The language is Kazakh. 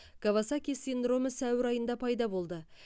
кавасаки синдромы сәуір айында пайда болды